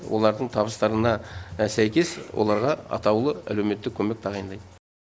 олардың табыстарына сәйкес оларға атаулы әлеуметтік көмек тағайындайды